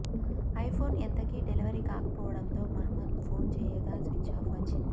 iPhone ఎంతకీ delivery కాకపోవడంతో Mohammed phone చేయగా స్విచ్ఛాఫ్ వచ్చింది